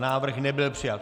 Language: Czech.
Návrh nebyl přijat.